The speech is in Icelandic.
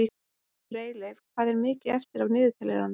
Freyleif, hvað er mikið eftir af niðurteljaranum?